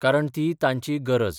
कारण ती तांची गरज.